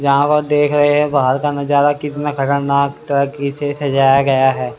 यहां पर देख रहे हैं बाहर का नजारा कितना खतरनाक तरके से सजाया गया है।